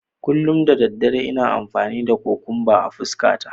Kullum da dare ina amfani da kukumba a fuskata.